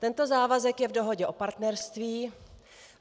Tento závazek je v dohodě o partnerství.